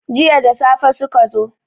jiya da safe suka zo